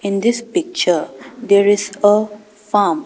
In this picture there is a farm.